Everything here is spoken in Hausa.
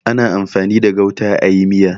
Ana amfani da gauta a yi miya.